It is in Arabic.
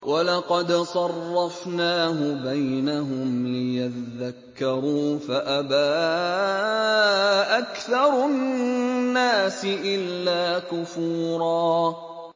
وَلَقَدْ صَرَّفْنَاهُ بَيْنَهُمْ لِيَذَّكَّرُوا فَأَبَىٰ أَكْثَرُ النَّاسِ إِلَّا كُفُورًا